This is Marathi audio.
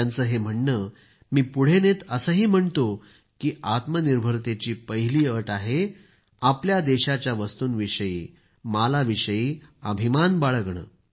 त्यांचं हे म्हणणं मी पुढे नेत असंही म्हणतो की आत्मनिर्भरतेची पहिली अट असते आपल्या देशाच्या वस्तूंविषयी मालाविषयी अभिमान बाळगणे